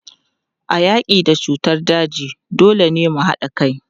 A yaki da cutar daji, dole ne mu hada kai.